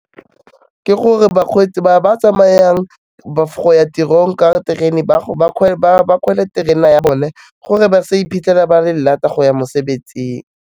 Ke gore bakgweetsi ba ba tsamayang go ya tirong ka terene ba terena ya bone gore ba sa iphitlhela ba le late-a go ya, mosebetsing.